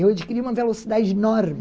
Eu adquiri uma velocidade enorme